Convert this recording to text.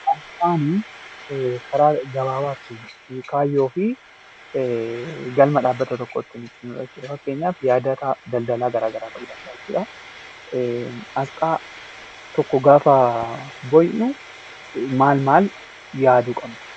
Asxaan Karaa gabaabaa kaayyoo fi galma dhaabbata tokko ittiin ibsinu fakkeenyaaf daldala garaagaraa ta'uu danda'a jechuudha. Asxaa tokko gaafa bocnu maal maal yaaduu qabna?